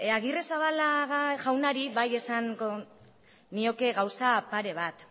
agirrezabala jaunari bai esango nioke gauza pare bat